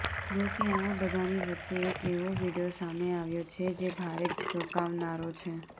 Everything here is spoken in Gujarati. જો કે આ બધાની વચ્ચે એક એવો વીડિયો સામે આવ્યો છે જે ભારે ચોંકાવનારો છે